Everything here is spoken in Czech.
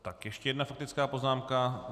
Tak ještě jedna faktická poznámka.